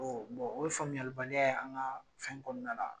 o ye faamuyali baliya ye an ka fɛn kɔnɔna la